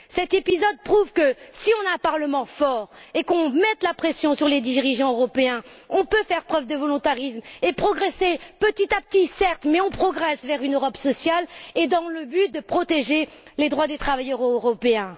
Cet épisode prouve que si on a un Parlement fort et si on met la pression sur les dirigeants européens, on peut faire preuve de volontarisme et progresser, petit à petit, certes, vers l'Europe sociale, dans le but de protéger les droits des travailleurs européens!